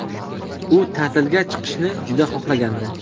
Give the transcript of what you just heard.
U ta’tilga chiqishni juda xohlagandi ✈️.